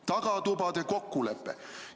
Tagatubade kokkulepe!